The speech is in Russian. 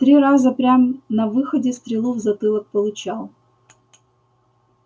три раза прям на выходе стрелу в затылок получал